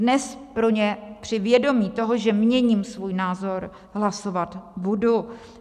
Dnes pro ně při vědomí toho, že měním svůj názor, hlasovat budu.